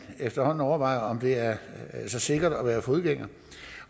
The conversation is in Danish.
efterhånden skal overveje om det er så sikkert at være fodgænger